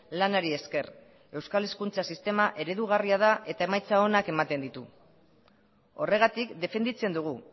lanari esker euskal hezkuntza sistema eredugarria da eta emaitza onak ematen ditu horregatik defenditzen dugu